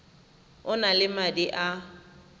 o na le madi a